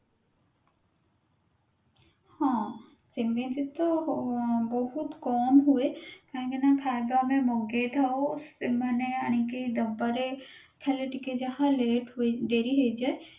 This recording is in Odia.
ହଁ ସେମିତିତ ଆଁ ବହୁତ କମ ହୁଏ କାହିଁକି ନା ଖାଇବା ଆମେ ମଗେଇଥାଉ ସେମାନେ ଆଣିକି ଦବାରେ ଖାଲି ଟିକେ ଯାହା late ହୋଇ ଡେରି ହେଇଯାଏ